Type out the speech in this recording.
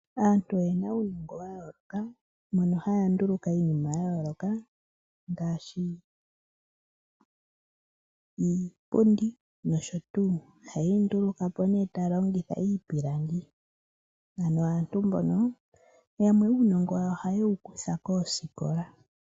Aantu oyena uunongo wa yooloka, mono haya nduluka iinima ya yooloka, ngaashi iipundi nosho tuu. Ohaye yi nduluka po nee taya longitha iipilangi. Ano aantu mbono yamwe uunongo wawo ohaye wu kutha koosikola.